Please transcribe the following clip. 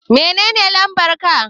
Menene lambar ka?